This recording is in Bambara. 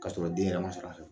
Kasɔrɔ den yɛrɛ ma sɔrɔ a fɛ